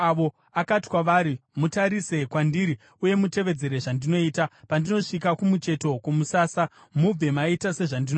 Akati kwavari, “Mutarise kwandiri uye mutevedzere zvandinoita. Pandinosvika kumucheto kwomusasa, mubve maita sezvandinoita.